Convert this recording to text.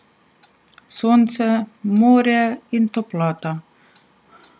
Sonce, morje in toplota.